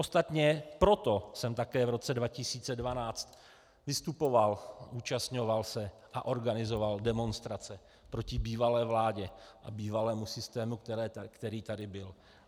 Ostatně proto jsem také v roce 2012 vystupoval, zúčastňoval se a organizoval demonstrace proti bývalé vládě a bývalému systému, který tady byl.